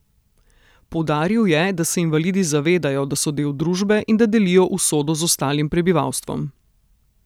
Poudaril je, da se invalidi zavedajo, da so del družbe in da delijo usodo z ostalim prebivalstvom.